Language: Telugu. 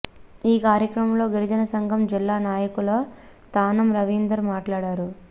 ఈ కార్యక్రమంలో గిరిజన సంఘం జిల్లా నాయకులు తానం రవీందర్ మాట్లాడారు